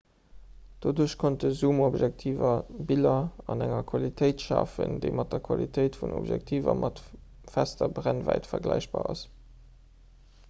doduerch konnte zoomobjektiver biller an enger qualitéit schafen déi mat der qualitéit vun objektiver mat fester brennwäit vergläichbar ass